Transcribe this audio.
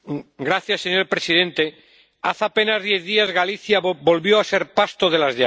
Señora presidenta, hace apenas diez días Galicia volvió a ser pasto de las llamas.